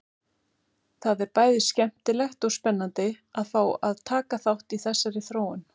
Það er bæði skemmtilegt og spennandi að fá að taka þátt í þessari þróun!